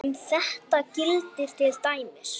Um þetta gildir til dæmis